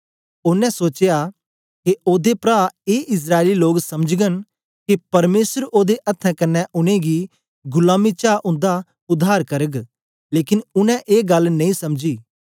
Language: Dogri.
ओनें सोचया के ओदे प्रा ए इस्राएली लोक समझगन के परमेसर ओदे अथ्थें कन्ने उनेंगी गुलामी चा उन्दा उद्धार करग लेकन उनै ए गल्ल नेई समझी